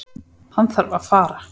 Hann þarf að fara.